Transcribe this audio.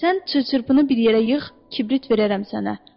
Sən çıl-çırpını bir yerə yığ, kibrit verərəm sənə.